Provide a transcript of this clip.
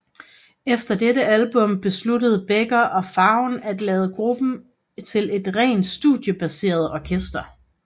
Efter dette album besluttede Becker og Fagen at lave gruppen til et rent studiebaseret orkester